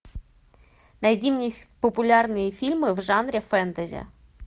найди мне популярные фильмы в жанре фэнтези